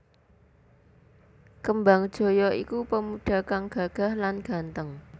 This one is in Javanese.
Kembangjaya iku pemuda kang gagah lan ganteng